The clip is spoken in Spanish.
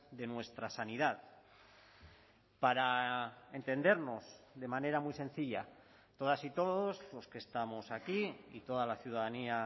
de nuestra sanidad para entendernos de manera muy sencilla todas y todos los que estamos aquí y toda la ciudadanía